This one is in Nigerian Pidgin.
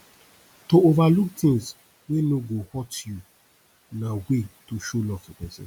to overlook things wey no go hurt you na way to show love to persin